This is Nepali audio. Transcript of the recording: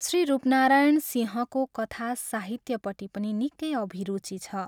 श्री रूपनारायण सिंहको कथा साहित्यपट्टि पनि निकै अभिरुचि छ।